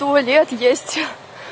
туалет есть